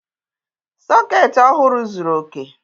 Sọọ̀kétí ọhụrụ zuru oke